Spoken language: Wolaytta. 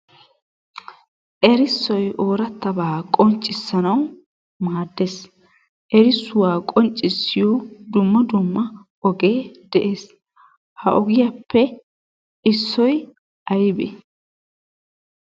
Erissoy oorattabaa qonccssanawu maaddees. Erissuwaa qonccissiyo dumma dumma ogee de'ees. Ha ogiyappe issoy aybee?